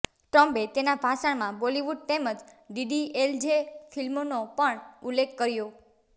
ટ્રમ્પે તેના ભાષણમાં બોલીવુડ તેમજ ડીડીએલજે ફિલ્મનો પણ ઉલ્લેખ કર્યો